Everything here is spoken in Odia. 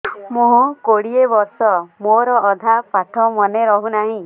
ମୋ କୋଡ଼ିଏ ବର୍ଷ ମୋର ଅଧା ପାଠ ମନେ ରହୁନାହିଁ